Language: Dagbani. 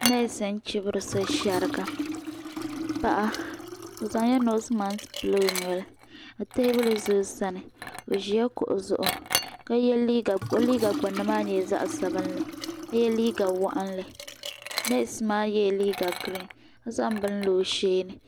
Neesi n chibiri so sheriga paɣa o zaŋla noosi maaki pili o noli ka teebuli za o sani o ʒila kuɣu zuɣu o liiga gbinni maa nyɛla zaɣa sabinli ka ye liiga waɣinli neesi maa yela liiga girin ka zaŋ bini lo o sheeni.